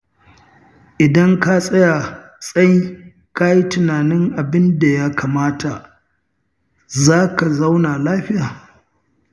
Idan ka tsaya tsai ka yi tunanin abin da ya kamata, za ka zauna lafiya.